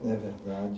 É verdade.